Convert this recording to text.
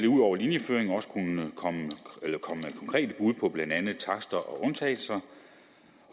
ud over linjeføring også komme konkrete bud på blandt andet takster og undtagelser